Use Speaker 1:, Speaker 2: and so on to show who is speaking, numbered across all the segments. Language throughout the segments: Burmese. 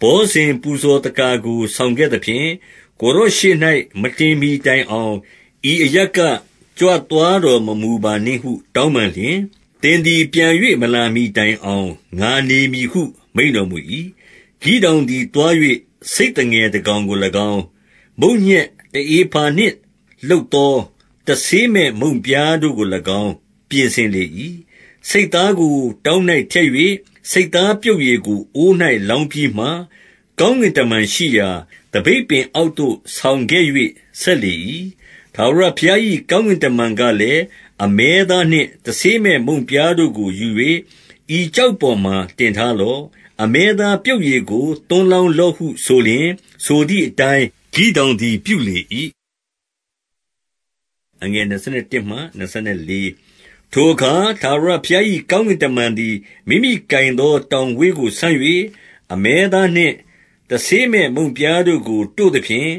Speaker 1: ဘောဇဉ်ပူဇော်သက္ကာကို ဆောင်ခဲ့သဖြင့်၊ ကိုယ်တော်ရှေ့၌ မတင်မှီတိုင်အောင်၊ ဤအရပ်က ကြွသွားတော်မမူပါနှင့်ဟု တောင်းပန်လျှင်၊ သင်သည် ပြန်၍ မလာမှီတိုင်အောင် ငါနေမည်ဟု မိန့်တော်မူ၏။ 19 ဂိဒေါင်သည် သွား၍ ဆိတ်သငယ်တကောင်ကို၎င်း၊ မုန့်ညက်တဧဖာနှင့် လုပ်သော တဆေးမဲ့ မုန့်ပြားတို့ကို၎င်း ပြင်ဆင်လေ၏။ ဆိတ်သားကို တောင်း၌ထည့်၍၊ ဆိတ်သားပြုတ်ရည်ကို အိုး၌လောင်းပြီးမှ၊ ကောင်းကင်တမန်ရှိရာ သပိတ်ပင်အောက်သို့ ဆောင်ခဲ့၍ ဆက်လေ၏။ 20 ထာဝရဘုရား၏ ကောင်းကင်တမန်ကလည်း၊ အမဲသားနှင့် တဆေးမဲ့မုန့်ပြားတို့ကို ယူ၍ ဤကျောက် ပေါ်မှာ တင်ထားလော့။ အမဲသားပြုတ်ရည်ကို သွန်းလောင်းလော့ဟု ဆိုလျှင်၊ ဆိုသည်အတိုင်း ဂိဒေါင်သည် ပြုလေ၏။ 21 ထိုအခါ ထာဝရဘုရား၏ ကောင်းကင်တမန်သည် မိမိကိုင်သော တောင်ဝေးကို ဆန့်၍၊ အမဲသားနှင့် တဆေးမဲ့မုန့်ပြားတို့ကို တို့သဖြင့်၊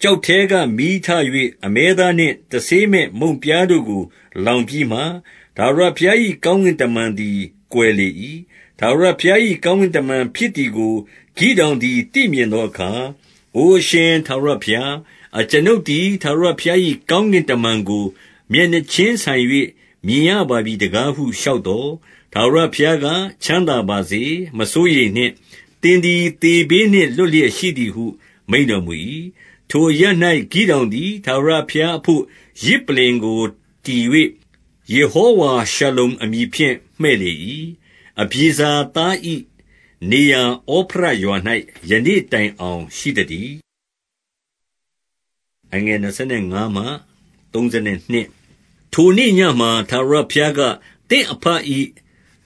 Speaker 1: ကျောက်ထဲက မီးထ၍ အမဲသားနှင့် တဆေးမဲ့မုန့်တို့ကို လောင်ပြီးမှ၊ ထာဝရဘုရား၏ ကောင်းကင်တမန်သည် ကွယ်လေ၏။ 22 ထာဝရဘုရား၏ကောင်းကင်တမန်ဖြစ်သည်ကို ဂိဒေါင်သည် သိမြင်သောအခါ၊ အိုအရှင် ထာဝရဘုရား၊ အကျွန်ုပ်သည် ထာဝရဘုရား၏ ကောင်းကင်တမန်ကို မျက်နှာချင်းဆိုင်၍ မြင်ရပါပြီ တကားဟုလျှောက်သော်၊ 23 ထာဝရဘုရားက၊ ချမ်းသာပါစေ။ မစိုးရိမ်နှင့်။ သင်သည် သေဘေးနှင့် လွတ်လျက်ရှိသည်ဟု မိန့်တော်မူ၏။ 24 ထိုအရပ်၌ ဂိဒေါင်သည် ထာဝရဘုရားအဘို့ ယဇ်ပလ္လင်ကို တည်၍၊ ယေဟောဝါရှာလုံအမည်ဖြင့် မှည့်လေ၏။ အဗျေဇာသား၏ နေရာဩဖရရွာ၌ ယနေ့တိုင်အောင် ရှိသတည်း။ 25 ထိုနေ့ညမှာ ထာဝရဘုရားက၊ သင့်အဘ၏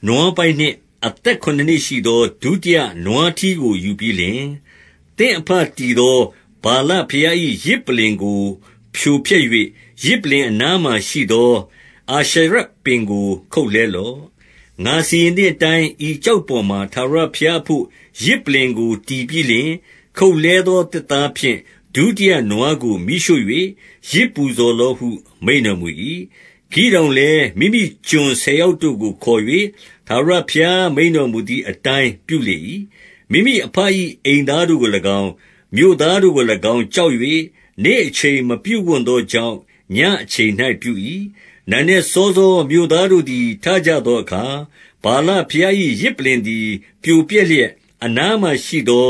Speaker 1: နွားပိုက်နှင့် အသက်ခုနစ်နှစ်ရှိသော ဒုတိယနွားထီးကို ယူပြီးလျှင်၊ သင့်အဘတည်သော ဗာလဘုရား၏ ယဇ်ပလ္လင်ကို ဖြိုဖျက်၍၊ ယဇ်ပလ္လင်အနားမှာရှိသော အာရှရပင်ကို ခုတ်လှဲလော့။ 26 ငါစီရင်သည်အတိုင်း၊ ဤကျောက်ပေါ်မှာ ထာဝရဘုရားအဘို့ ယဇ်ပလ္လင်ကို တည်ပြီးလျှင်၊ ခုတ်လှဲသော သစ်သားဖြင့် ဒုတိယနွားကို မီးရှို့၍ ယဇ်ပူဇော်လော့ဟု မိန့်တော်မူ၏။ 27 ဂိဒေါင်လည်း မိမိကျွန်ဆယ်ယောက်တို့ကို ခေါ်၍၊ ထာဝရဘုရားမိန့်တော်မူသည်အတိုင်း ပြုလေ၏။ မိမိအဘ၏ အိမ်သားတို့ကို၎င်း၊ မြို့သားတို့ကို၎င်း ကြောက်၍၊ နေ့အချိန်၌ မပြုဝံ့သောကြောင့်၊ ညဉ့်အချိန်၌ ပြု၏။ 28 နံနက်စောစော မြို့သားတို့သည် ထကြသောအခါ၊ ဗာလဘုရား၏ ယဇ်ပလ္လင်သည် ပြိုပျက်လျက်၊ အနားမှာရှိသော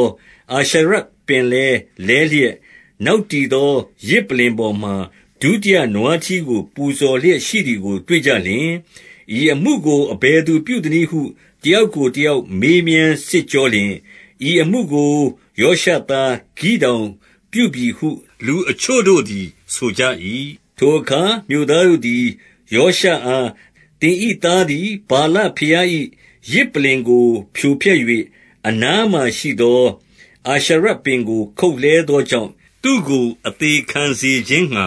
Speaker 1: အာရှရပင်လည်း လဲလျက်၊ နောက်တည်သော ယဇ်ပလ္လင်ပေါ်မှာ ဒုတိယနွားထီးကို ပူဇော်လျက်ရှိသည်ကို တွေ့ကြလျှင်၊ 29 ဤအမှုကို အဘယ်သူပြုသနည်းဟု တယောက်ကို တယောက် မေးမြန်းစစ်ကြောလျှင်၊ ဤအမှုကို ယောရှသားဂိဒေါင်ပြုပြီဟု လူအချို့တို့သည် ဆိုကြ၏။ 30 ထိုအခါ မြို့သားတို့သည် ယောရှအား၊ သင်၏သားသည် ဗာလဘုရား၏ ယဇ်ပလ္လင်ကို ဖြိုဖျက်၍ အနားမှာ ရှိသော အာရှရပင်ကို ခုတ်လှဲသောကြောင့်၊ သူ့ကို အသေခံစေခြင်းငှါ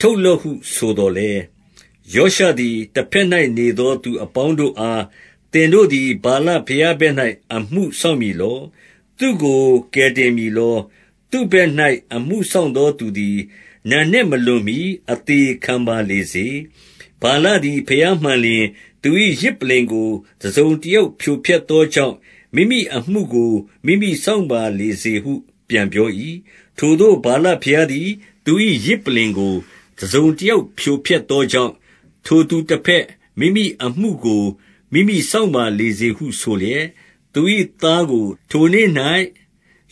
Speaker 1: ထုတ်လော့ဟု ဆိုသော်လည်း၊ 31 ယောရှသည် တဘက်၌ နေသော သူအပေါင်းတို့အား၊ သင်တို့သည် ဗာလဘုရားဘက်၌ အမှု စောင့်မည်လော။ သူ့ကို ကယ်တင်မည်လော။ သူ့ဘက်၌ အမှုစောင့်သောသူသည်၊ နံနက်မလွန်မှီ အသေခံပါလေစေ။ ဗာလသည် ဘုရားမှန်လျှင်၊ သူ၏ယဇ်ပလ္လင်ကို တစုံတယောက် ဖြိုဖျက်သော ကြောင့်၊ မိမိအမှုကို မိမိစောင့်ပါလေစေဟု ပြန်ပြော၏။ 32 ထိုသို့ ဗာလဘုရားသည် သူ၏ယဇ်ပလ္လင်ကို တစုံတယောက်ဖြိုဖျက်သောကြောင့်၊ ထိုသူတဘက် မိမိအမှုကို မိမိစောင့်ပါလေစေဟု ဆိုလျှက် သူ၏သားကို ထိုနေ့၌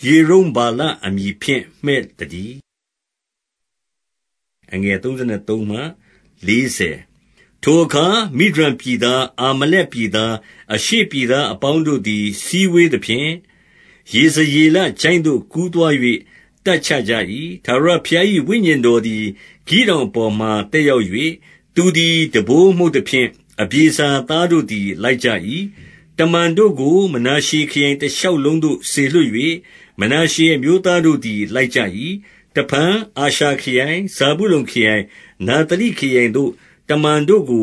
Speaker 1: ယေရုဗ္ဗာလအမည်ဖြင့် မှည့်သတည်း။ 33 ထိုအခါ မိဒျန်ပြည်သား၊ အာမလက်ပြည်သား၊ အရှေ့ပြည်သားအပေါင်းတို့သည် စည်းဝေးသဖြင့်၊ ယေဇရေလချိုင့်သို့ ကူးသွား၍ တပ်ချကြ၏။ 34 ထာဝရဘုရား၏ ဝိညာဉ်တော်သည် ဂိဒေါင်အပေါ်မှာ သက်ရောက်၍၊ သူသည် တံပိုးမှုတ်သဖြင့် အဗျေဇာသားတို့သည် လိုက်ကြ၏။ 35 တမန်တို့ကို မနာရှေခရိုင်မ တရှောက်လုံးသို့ စေလွှတ်၍၊ မနာရှေ အမျိုးသားတို့သည် လိုက်ကြ၏။ တဖန် အာရှာခရိုင်၊ ဇာဗုလုန်ခရိုင်၊ နဿလိခရိုင်သို့ တမန်တို့ကို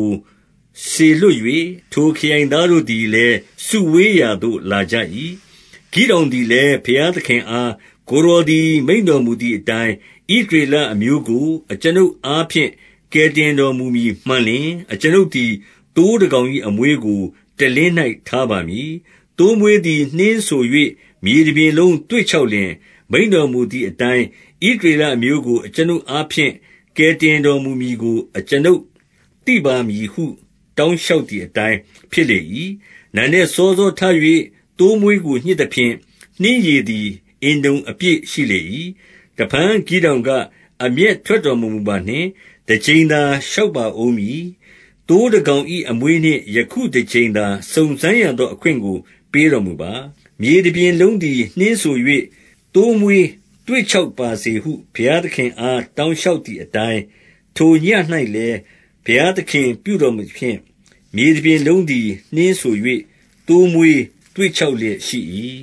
Speaker 1: စေလွှတ်၍၊ ထိုခရိုင်သားတို့သည် လည်း စုဝေးရာသို့ လာကြ၏။ 36 ဂိဒေါင်သည်လည်း ဘုရားသခင်အား၊ ကိုယ်တော်သည် မိန့်တော်မူသည်အတိုင်း၊ ဣသရေလအမျိုးကို အကျွန်ုပ်အားဖြင့် ကယ်တင်တော်မူမည်မှန်လျှင်၊ 37 အကျွန်ုပ်သည် သိုးတကောင်၏အမွေးကို တလင်း၌ ထားပါမည်။ သိုးမွေးသည် နှင်းစို၍၊ မြေတပြင်လုံး သွေ့ခြောက်လျှင်၊ မိန့်တော်မူသည်အတိုင်း၊ ဣသရေလအမျိုးကို အကျွန်ုပ်အားဖြင့် ကယ်တင်တော် မူမည်ကို အကျွန်ုပ်သိပါမည်ဟု တောင်းလျှောက်သည်အတိုင်း ဖြစ်လေ၏။ 38 နံနက်စောစောထ၍ သိုးမွေးကို ညှစ်သဖြင့် နှင်းရည်သည် အင်တုံအပြည့် ရှိလေ၏။ 39 တဖန် ဂိဒေါင်က၊ အမျက်ထွက်တော်မမူပါနှင့်။ တကြိမ်သာ လျှောက်ပါဦးမည်။ သိုးတကောင်၏ အမွေးနှင့် ယခုတကြိမ်သာ စုံစမ်းရသော အခွင့်ကို ပေးတော်မူပါ။ မြေတပြင်လုံးသည် နှင်းစို၍ သိုးမွေးသွေ့ခြောက်ပါစေဟု ဘုရားသခင်အား တောင်းလျှောက်သည်အတိုင်း၊ 40 ထိုညဉ့်၌လည်းဘုရားသခင်ပြုတော်မူသဖြင့်၊ မြေတပြင်လုံးသည် နှင်းစို၍ သိုးမွေးသွေ့ခြောက်လျက် ရှိ၏။